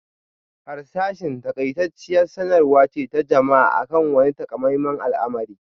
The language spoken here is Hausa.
Harsashi n taƙaitacciyar sanarwa ce ta jama'a akan wani takamaiman al'amari